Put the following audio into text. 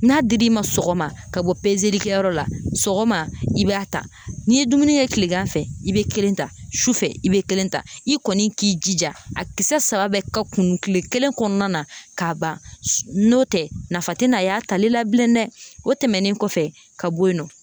N'a dir'i ma sɔgɔma ka bɔ kɛyɔrɔ la sɔgɔma i b'a ta n'i ye dumuni kɛ kilegan fɛ i be kelen ta su fɛ i be kelen ta i kɔni k'i jija a kisɛ saba bɛɛ ka kunun kile kelen kɔnɔna na ka ban. N'o tɛ, nafa te na a y'a tali la bilen dɛ, o tɛmɛnen kɔfɛ ka bɔ yen nɔ